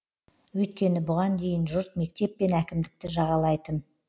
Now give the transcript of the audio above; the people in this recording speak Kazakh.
өйткені бұған дейін жұрт мектеп пен әкімдікті жағалайтын